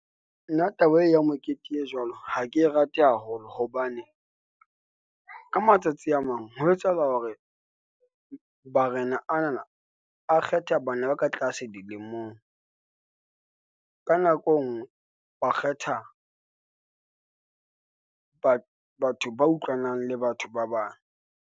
Nna taba e ya mekete e jwalo ha ke e rate haholo, hobane ka matsatsi a mang ho etsahala hore barena anana a kgetha bana ba ka tlase dilemong, ka nako engwe ba kgetha , Batho ba utlwanang le batho ba bang.